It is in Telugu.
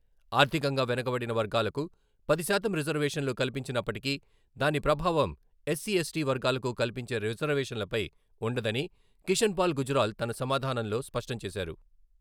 ఆర్థికంగా వెనుకబడిన వర్గాలకు పది శాతం రిజర్వేషన్లు కల్పించినప్పటికీ దాని ప్రభావం ఎస్సి, ఎస్‌టి వర్గాలకు కల్పించే రిజర్వేషన్లపై ఉండదని కిషన్పాల గుజ్రాల్ తన సమాధానంలో స్పష్టంచేశారు.